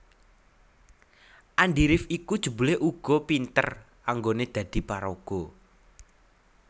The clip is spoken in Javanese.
Andi rif iku jebulé uga pinter anggoné dadi paraga